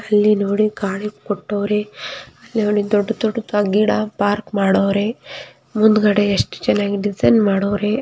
ಅಲ್ಲಿ ನೋಡಿ ಕಾಣಿ ಕೊಟ್ಟೋವ್ರೆ ಅಲ್ಲಿ ನೋಡಿ ದೊಡ್ಡ್ ದೊಡ್ಡ್ ಗಿಡ ಪಾರ್ಕ್ ಮಾಡವ್ರೆ. ಮುಂದ್ಗಡೆ ಎಷ್ಟು ಚೆನ್ನಾಗಿ ಡಿಸೈನ್ ಮಾಡವ್ರೆ.